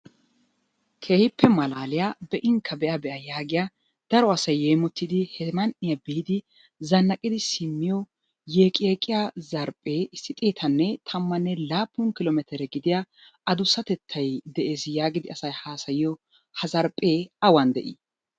Keehippe malaliyaa, be"inkka be'a be'a yagiyaa daro asay yeemotidi he man"iyaan biidi zannaqidi simmiyo yeeqqi yeeqqiya zarphphe issi xeetanne tammanne laappun kilo metere gidiyaa addusssatettay de'ees yaagidi asay haassayyiyo ha zarphphe awan de'i?